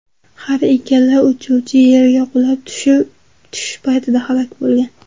Har ikkala uchuvchi yerga qulab tushish paytida halok bo‘lgan.